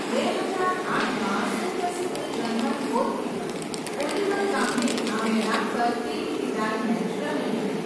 બે હજાર આઠમાં સુપ્રસિદ્ધ જર્મન ગોલકીપર, ઓલિવર કાહ્ને આ મેદાન પર તેની વિદાય મેચ રમી હતી.